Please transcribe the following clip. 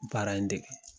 Baara in dege